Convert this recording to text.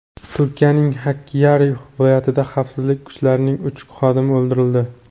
Turkiyaning Hakkyari viloyatida xavfsizlik kuchlarining uch xodimi o‘ldirildi.